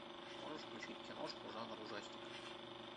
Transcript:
можешь включить киношку жанр ужастик